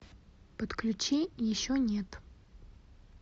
подключи еще нет